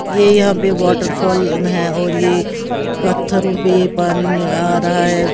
ये यहाँ पे वाटरफॉल न हैं और ये पत्थरों पे ये पानी नि आ रहा है।